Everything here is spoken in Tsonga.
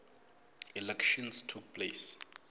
elections took place